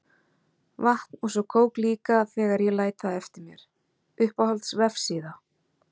Vatn og svo kók líka þegar ég læt það eftir mér Uppáhalds vefsíða?